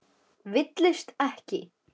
Villist ekki!